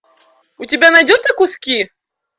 у тебя найдется куски